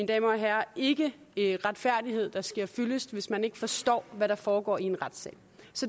damer og herrer ikke ikke retfærdighed der sker fyldest hvis man ikke forstår hvad der foregår i en retssal